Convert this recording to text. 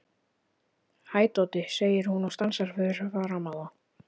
Hæ, Doddi, segir hún og stansar fyrir framan þá.